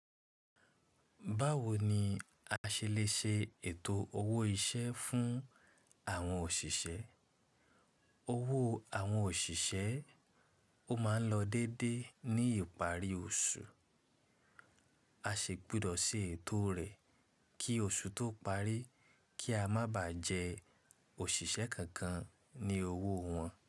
Báwo ni a ṣe lè ṣe ètò owó iṣẹ́ fún àwọn òṣìṣẹ́. Owó àwọn òṣìṣẹ́ ó máa ń lọ déédé ní ìparí oṣù. A sì gbúdọ̀ ṣe ètò rẹ kí oṣù tó parí kí a má ba jẹ òṣìṣẹ́ kankan ní owó wọn.